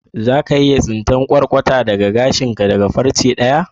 Za ka iya tsinta latsa daga gashin ka da farce daya?